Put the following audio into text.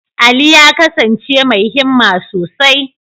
Ali ya kasance mai himma sosai.